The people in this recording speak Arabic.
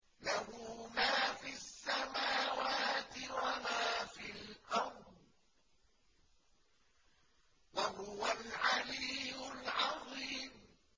لَهُ مَا فِي السَّمَاوَاتِ وَمَا فِي الْأَرْضِ ۖ وَهُوَ الْعَلِيُّ الْعَظِيمُ